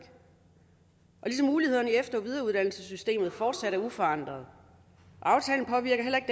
ligesom mulighederne i efter og videreuddannelsessystemet fortsat er uforandrede aftalen påvirker heller ikke